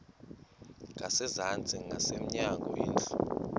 ngasezantsi ngasemnyango indlu